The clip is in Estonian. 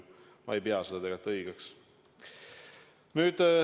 Ma ei pea seda õigeks.